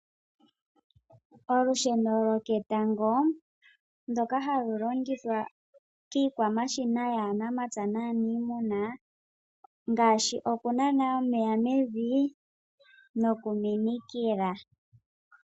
Olusheno lwoketango ndoka halu longithwa kiikwamashina yaanamapya naaniimuna ngaashi okunana omeya mevi nosho woo okuminikila.